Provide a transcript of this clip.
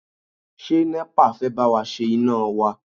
Ṣé NEPA fẹ́ bá wa ṣe iná wa?